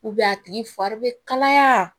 a tigi fari bɛ kalaya